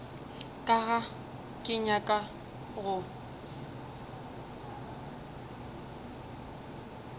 ka ga ke nyake go